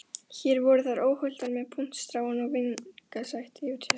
Hér voru þær óhultar með puntstráin að vingsast yfir sér.